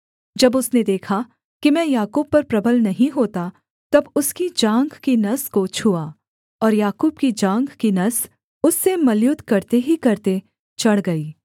जब उसने देखा कि मैं याकूब पर प्रबल नहीं होता तब उसकी जाँघ की नस को छुआ और याकूब की जाँघ की नस उससे मल्लयुद्ध करते ही करते चढ़ गई